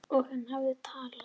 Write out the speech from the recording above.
Og hann hafði talað.